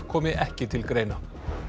komi ekki til greina